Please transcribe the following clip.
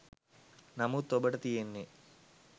නමුත් ඔබට තියෙන්නේ